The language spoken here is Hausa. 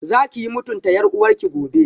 Zakiyi mutunta yar uwarki gobe